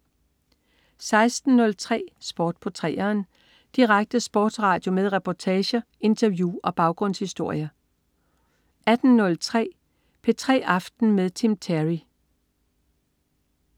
16.03 Sport på 3'eren. Direkte sportsradio med reportager, interview og baggrundshistorier 18.03 P3 aften med Tim Terry